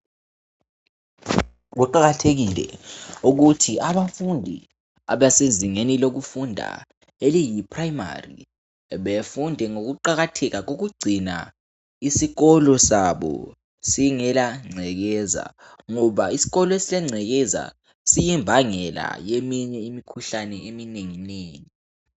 Kuqakathekile ukuthi abafundi abasezingeni lokufunda eliyi primary befunde ngokuqakatheka kokugcina isikolo sabo singelangcekeza ngoba isikolo esilengcekeza siyimbangela yeminye imikhuhlane eminengi nengi